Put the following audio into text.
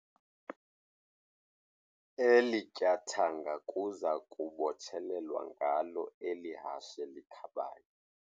Eli tyathanga kuza kubotshelelwa ngalo eli hashe likhabayo.